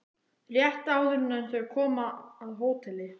Rétt áður en þau koma að hóteli